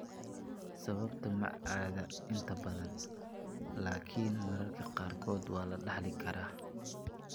Sababta ma cadda inta badan, laakiin mararka qaarkood waa la dhaxli karaa.